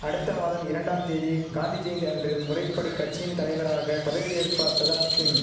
அடுத்த மாதம் இரண்டாம் தேதி காந்தி ஜெயந்தி அன்று முறைப்படி கட்சியின் தலைவராக பதவியேற்பார் பிரதாப் சிங்